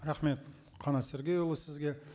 рахмет қанат сергейұлы сізге